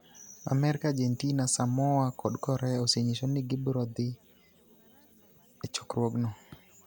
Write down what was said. Amerka, Argentina, Samoa kod Korea osenyiso ni gibiro dhi e chokruogno.